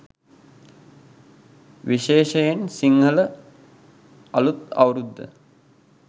විශේෂයෙන් සිංහල අලුත් අවුරුද්ද